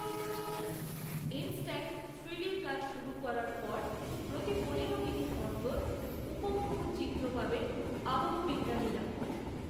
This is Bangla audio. ইনস্ট্যান্ট থ্রিডির কাজ শুরু করার পর প্রতি পনেরো মিনিট অন্তর উপগ্রহ চিত্র পাবেন আবহবিজ্ঞানীরা